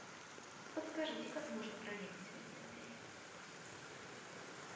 подскажите как можно проехать в этот отель